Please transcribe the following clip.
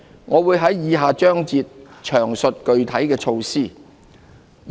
我會在以下章節詳述具體措施。